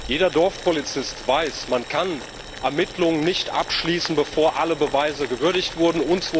Jeder Dorfpolizist weiß Man kann Ermittlungen nicht abschließen, bevor alle Beweise gewürdigt wurden.